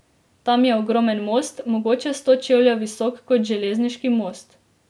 Tam je ogromen most, mogoče sto čevljev visok kot železniški most.